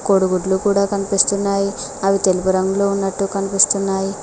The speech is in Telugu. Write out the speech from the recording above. కూడిగుడ్లు కూడా కనిపిస్తున్నాయి అవి తెలుపు రంగులో ఉన్నటు కనిపిస్తున్నాయి.